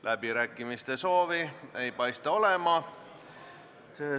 Läbirääkimiste soovi ei paista olevat.